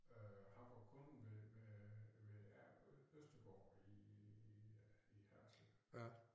Øh han var kunde ved ved øh ved Østergård i øh i Haderslev